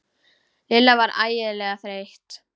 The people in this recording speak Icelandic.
Lilla var ægilega þreytt.